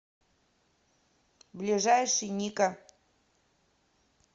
ближайший ника